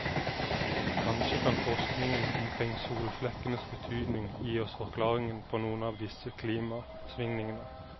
Kanskje kan forskningen omkring solflekkenes betydning gi oss forklaringen på noen av disse klimasvingningene.